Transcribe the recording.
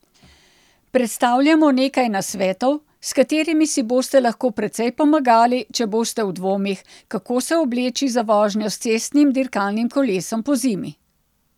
Predstavljamo nekaj nasvetov, s katerimi si boste lahko precej pomagali, če boste v dvomih, kako se obleči za vožnjo s cestnim dirkalnim kolesom pozimi.